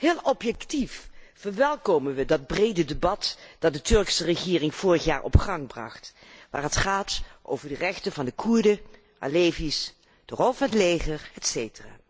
Heel objectief verwelkomen wij dat brede debat dat de Turkse regering vorig jaar op gang bracht, waar het gaat over de rechten van de Koerden, de alevi's, de rol van het leger, etc.